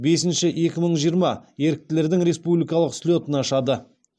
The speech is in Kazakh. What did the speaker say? бесінші екі мың жиырма еріктілердің республикалық слетін ашады